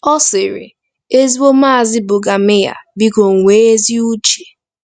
Ọ sịrị: “Ezigbo Maazi Brüggemeier, biko nwee ezi uche.